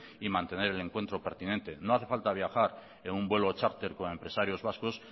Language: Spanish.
y mantener el encuentro pertinente no hace falta viajar en un vuelo charter con empresarios vascos